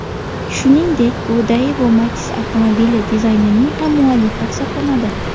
Shuningdek, u Daewoo Matiz avtomobili dizaynining ham muallifi hisoblanadi.